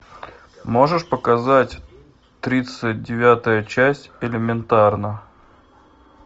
можешь показать тридцать девятая часть элементарно